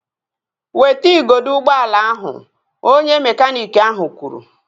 Weta igodo ụgbọala ahụ! Onye mekaniiki ahụ kwuru